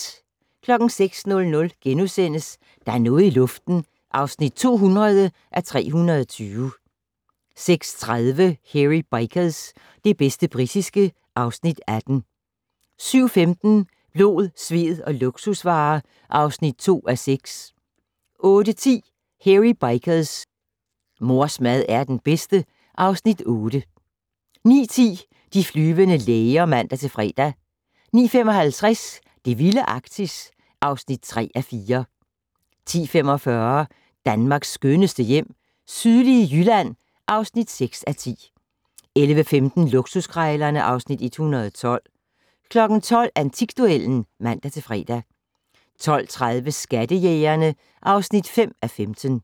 06:00: Der er noget i luften (200:320)* 06:30: Hairy Bikers - det bedste britiske (Afs. 18) 07:15: Blod, sved og luksusvarer (2:6) 08:10: Hairy Bikers: Mors mad er den bedste (Afs. 8) 09:10: De flyvende læger (man-fre) 09:55: Det vilde Arktis (3:4) 10:45: Danmarks skønneste hjem - sydlige Jylland (6:10) 11:15: Luksuskrejlerne (Afs. 112) 12:00: Antikduellen (man-fre) 12:30: Skattejægerne (5:15)